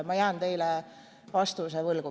Ma jään teile praegu siin vastuse võlgu.